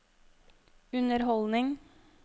underholdning